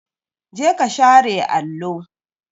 Jeka share allo!